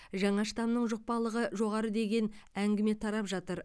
жаңа штамның жұқпалылығы жоғары деген әңгіме тарап жатыр